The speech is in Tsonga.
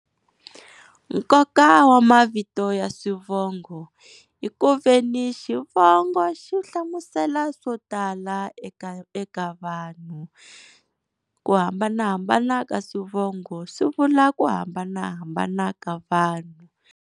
Nkoka wa mavito ya swivongo i ku veni xivongo xi hlamusela swo tala eka eka vanhu. Ku hambanahambana ka swivongo swi vula ku hambanahambana ka vanhu.